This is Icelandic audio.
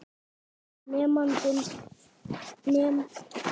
Nemandi: Er þetta ekki rétt?